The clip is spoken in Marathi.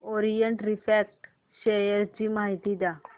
ओरिएंट रिफ्रॅक्ट शेअर ची माहिती द्या